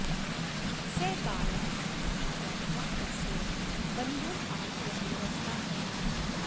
सः बालः इति ज्ञात्वा तस्य बन्धनाज्ञा निरस्ता अभवत्